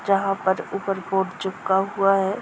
जहाँ पर ऊपर बोर्ड चिपका हुआ है।